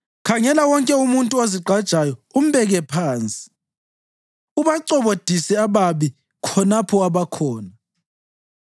khangela wonke umuntu ozigqajayo umbeke phansi, ubacobodise ababi khonapho abakhona.